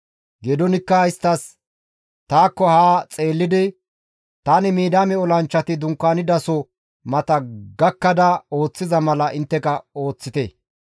Geedoonikka isttas, «Taakko haa xeellidi tani ooththizayssa ooththite; tani Midiyaame olanchchati dunkaanidaso mata gakkada ooththiza mala intteka ooththite.